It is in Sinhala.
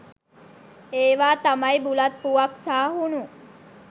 එවා තමයි බුලත් පුවක් සහ හුනු.